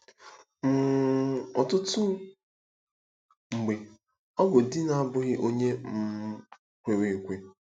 um Ọtụtụ mgbe, ọ bụ di na-abụghị onye um kwere ekwe.